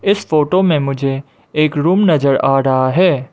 इस फोटो में मुझे एक रूम नजर आ रहा है।